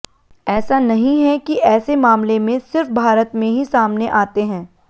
ऐसा नहीं है कि ऐसे मामले में सिर्फ भारत में ही सामने आते हैं